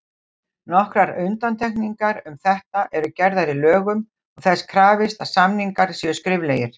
Nokkrar undantekningar um þetta eru gerðar í lögum og þess krafist að samningar séu skriflegir.